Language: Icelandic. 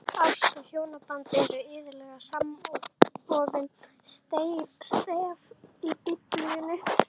Ást og hjónaband eru iðulega samofin stef í Biblíunni.